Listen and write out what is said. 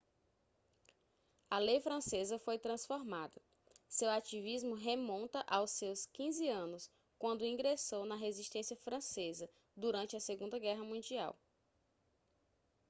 a lei francesa foi transformada seu ativismo remonta aos seus 15 anos quando ingressou na resistência francesa durante a segunda guerra mundial